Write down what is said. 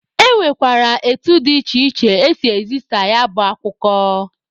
E nwekwara etu dị iche iche esi ezisa ya bụ akụkọ.